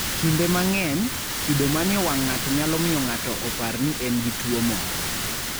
Kinde mang'eny, kido manie wang' ng'ato nyalo miyo ng'ato opar ni en gi tuwo moro.